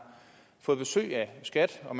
fået besøg af skat og